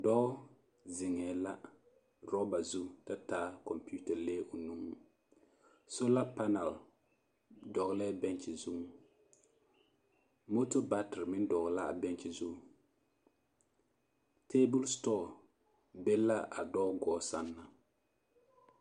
Dɔɔ zeŋɛɛ la rɔba zu ta taa kɔmpiita lee o nuŋ, sola panɛl dɔgelɛɛ benkyi zuŋ, moto batere meŋ dɔgelɛɛ a bɛnkyi zuŋ teebol setɔɔ be la a dɔɔ goɔ sɛŋ naŋ.